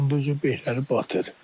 Onda bexləri batır.